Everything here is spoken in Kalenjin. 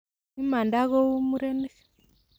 Imanda kou murenik.